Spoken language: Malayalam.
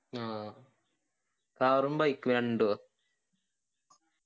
ആ car ഉം bike ഉം രണ്ടുവ